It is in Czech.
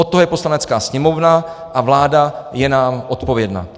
Od toho je Poslanecká sněmovna a vláda je nám odpovědná.